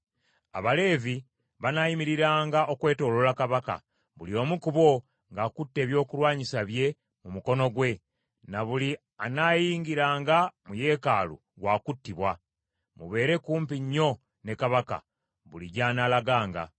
Abaleevi banaayimiriranga okwetooloola kabaka, buli omu ku bo ng’akutte ebyokulwanyisa bye mu mukono gwe, na buli anaayingiranga mu yeekaalu wa kuttibwa. Mubeere kumpi nnyo ne kabaka, buli gy’anaalaganga.”